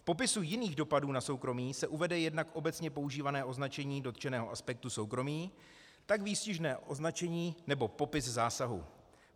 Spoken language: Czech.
V popisu jiných dopadů na soukromí se uvede jednak obecně používané označení dotčeného aspektu soukromí, tak výstižné označení nebo popis zásahu.